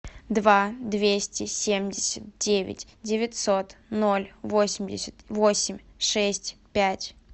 два двести семьдесят девять девятьсот ноль восемьдесят восемь шесть пять